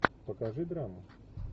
покажи драму